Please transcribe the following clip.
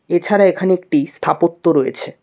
এছাড়া এখানে একটি স্থাপত্য রয়েছে।